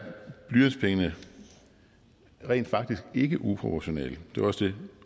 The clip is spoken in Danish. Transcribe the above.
blyantspengene rent faktisk ikke uproportionale det var også det